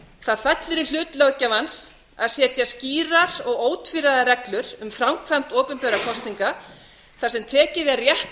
það fellur í hlut löggjafans að setja skýrar og ótvíræðar reglur um framkvæmd opinberra kosninga þar sem tekið er rétt